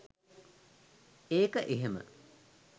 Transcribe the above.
ඒක එහෙම